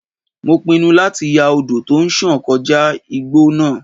Mo pinnu láti ya odò tó ń sàn kọjá igbó náà.